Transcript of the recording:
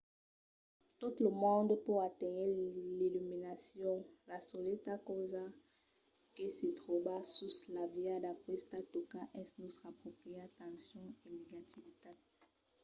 tot lo monde pòt aténher l'illuminacion. la soleta causa que se tròba sus la via d’aquesta tòca es nòstra pròpria tension e negativitat